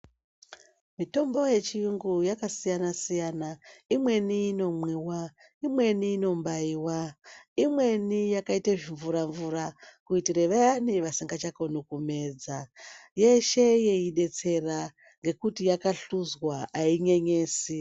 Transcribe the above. Mitombo ye chiyungu yaka siyana siyana imweni ino mwiwa imweni inobaiwa imweni yakaita zvi mvura mvura kuitire vayani vasingacha koni kumedza yeshe yei detsera ngekuti yaka hluzwa ayi nyenyesi.